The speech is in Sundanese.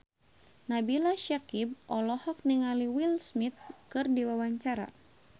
Nabila Syakieb olohok ningali Will Smith keur diwawancara